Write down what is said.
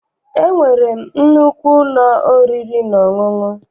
E nwere m nnukwu ụlọ oriri na ọṅụṅụ.